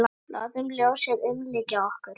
Látum ljósið umlykja okkur.